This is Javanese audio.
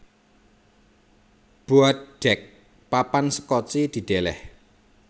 Boat Deck papan sekoci didèlèh